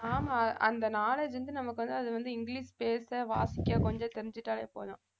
ஆமா அந்த knowledge வந்து நமக்கு வந்து அது வந்து இங்கிலிஷ் பேச வாசிக்க கொஞ்சம் தெரிஞ்சுட்டாவே போதும்